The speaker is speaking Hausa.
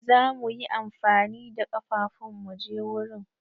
Za mu yi amfani da kafafun mu je wurin.